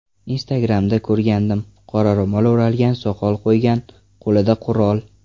Instagram’da ko‘rgandim, qora ro‘mol o‘ralgan, soqol qo‘ygan, qo‘lida qurol.